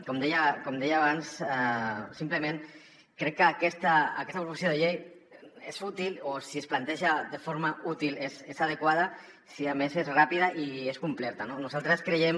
com deia abans simplement crec que aquesta proposició de llei és útil o si es planteja de forma útil és adequada si a més és ràpida i és completa no nosaltres creiem